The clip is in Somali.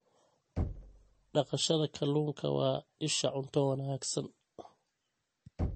Dhaqashada kalluunka waa isha cunto wanaagsan.